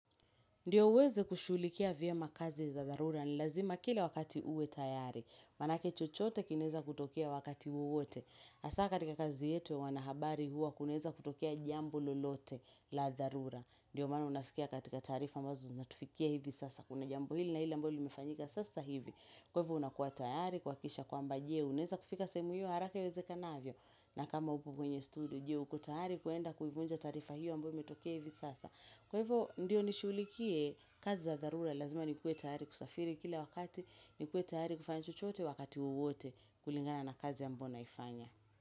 Ndio uweze kushughulikia vyema kazi za dharura ni lazima kila wakati uwe tayari. Manake chochote kinaeza kutokea wakati wowote. Hasa katika kazi yetu ya wanahabari huwa kunaweza kutokea jambo lolote la dharura. Ndio maana unasikia katika taarifa ambazo zunatufikia hivi sasa. Kuna jambo hili na ile ambalo limefanyika sasa hivi. Kwa hivyo unakuwa tayari kuhakikisha kwamba je unaweza kufika sehemu hiyo haraka iwezekanavyo. Na kama upo kwenye studio je uko tayari kuenda kuivunja taarifa hiyo ambayo imetokea hivi sasa. Kwa hivyo ndiyo nishughulikie kazi za dharura lazima nikuwe tayari kusafiri kila wakati, nikuwe tayari kufanya chochote wakati wowote kulingana na kazi ambyo naifanya.